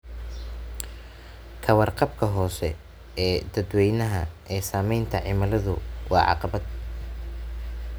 Ka warqabka hoose ee dadweynaha ee saamaynta cimiladu waa caqabad.